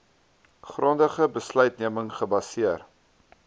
grondige besluitneming gebaseer